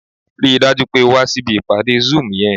Rí i dájú pé o wá síbi ìpàdé zoom yẹn!